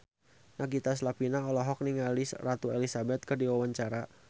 Nagita Slavina olohok ningali Ratu Elizabeth keur diwawancara